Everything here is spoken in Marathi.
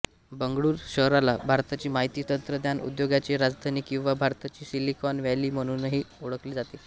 बंगळूरू शहराला भारताची माहिती तंत्रज्ञान उद्योगाची राजधानी किंवा भारताची सिलिकॉन व्हॅली म्हणूनही ओळखले जाते